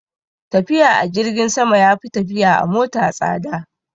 Tafiya a jirgin sama ya fi tafiya a mota tsada